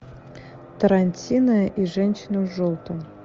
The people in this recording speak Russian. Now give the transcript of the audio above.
тарантино и женщина в желтом